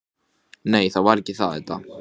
En svo áttar hún sig alltaf betur og betur.